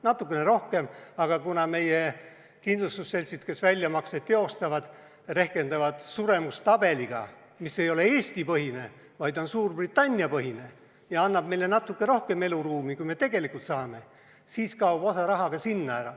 Natukene rohkem, aga kuna meie kindlustusseltsid, kes väljamakseid teostavad, rehkendavad suremustabeliga, mis ei ole Eesti-põhine, vaid on Suurbritannia-põhine ja annab meile natuke rohkem eluaega, kui me tegelikult saame, siis kaob osa raha ka sinna ära.